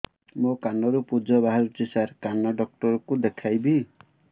ମୋ କାନରୁ ପୁଜ ବାହାରୁଛି ସାର କାନ ଡକ୍ଟର କୁ ଦେଖାଇବି